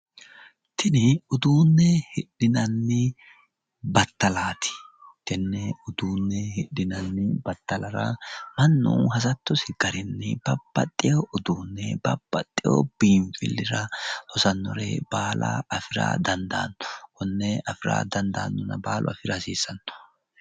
Tini uduunne hidhinanni battalaati tenne uduunne hidhinanni battalara annu hasattosi garinni babbaxxeyo uduunne babbaxeyo biinfillira hosannore baala afira dandaanno konne afira dandaannona baalu afira hasiissanno